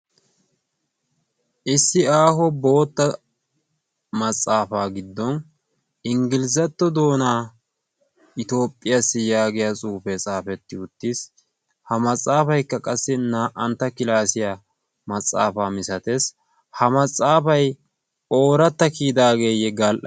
issi aaho bootta maxaafaa giddon inggilizzatto doonaa itoophphiyaassi yaagiya suufee xaafetti uttiis ha maxaafaykka qassi naa''antta kilaasiyaa maxaafaa misatees ha maxaafay ooratta kiyidaageeyye gal''a..